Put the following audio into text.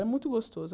Era muito gostoso.